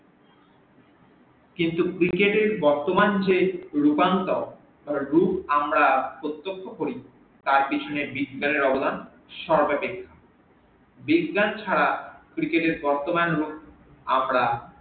কিন্তু cricket এর বর্তমান যে রূপান্তর যে রুপ আমরা প্রতক্ষ করি তার পেছনে বিজ্ঞানের অবদান সর্বাধিক বিজ্ঞান ছাড়া cricket এর বর্তমান রুপ আমরা